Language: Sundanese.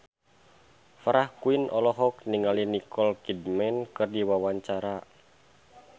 Farah Quinn olohok ningali Nicole Kidman keur diwawancara